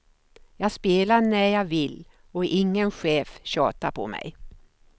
Jag spelar när jag vill och ingen chef tjatar på mig.